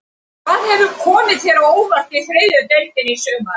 Hvað hefur komið þér á óvart í þriðju deildinni í sumar?